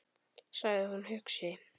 sagði hún hugsi.